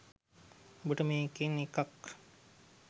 ඔබට මේ එකන් එකක්